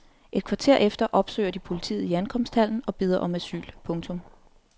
Et kvarter efter opsøger de politiet i ankomsthallen og beder om asyl. punktum